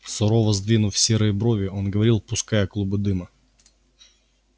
сурово сдвинув седые брови он говорил пуская клубы дыма